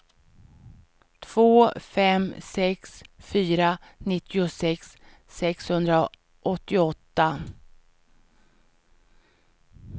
två fem sex fyra nittiosex sexhundraåttioåtta